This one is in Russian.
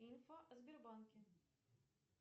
инфа о сбербанке